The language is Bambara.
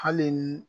Hali ni